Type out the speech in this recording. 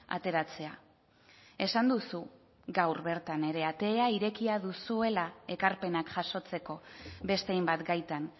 ateratzea esan duzu gaur bertan ere atea irekia duzuela ekarpenak jasotzeko beste hainbat gaitan